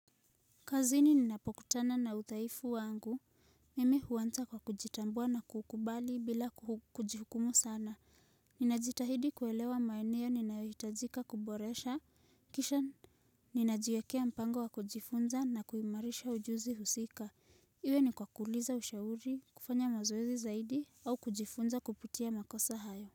Kazini ninapokutana na udhaifu wangu. Mimi huanza kwa kujitambua na kukubali bila kujihukumu sana. Ninajitahidi kuelewa maeneo ninayohitajika kuboresha. Kisha ninajiwekea mpango wa kujifunza na kuimarisha ujuzi husika. Iwe ni kwa kuuliza ushauri, kufanya mazoezi zaidi, au kujifunza kupitia makosa hayo.